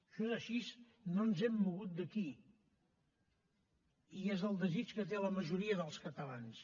això és així no ens hem mogut d’aquí i és el desig que té la majoria dels catalans